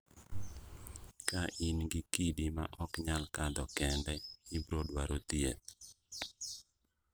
Ka in gi kidi ma ok nyal kadho kende, ibrodwaro thieth.